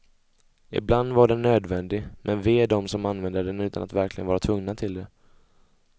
Ibland var den nödvändig, men ve dem som använde den utan att verkligen vara tvungna till det.